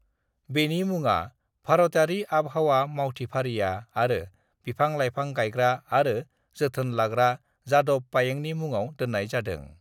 बेनि मुङा भारतयारि आवहावा मावथिफारिया आरो बिफां-लाइफां गायग्रा आरो जोथोन लाग्रा जादव पायेंनि मुंङाव दोननाय जादों।